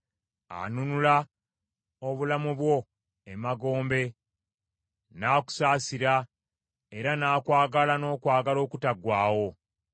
Anunula obulamu bwo emagombe, n’akusaasira era n’akwagala n’okwagala okutaggwaawo.